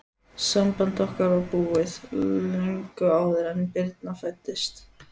Samband okkar var búið, löngu áður en Birna fæddist.